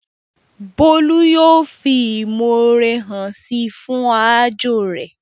Bólú yóò fi ìmọ̀ore hàn síi fún aájò rẹ̀